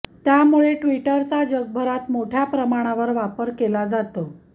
त्यामुळे ट्विटरचा जगभरात मोठ्या प्रमाणावर वापर केला जातो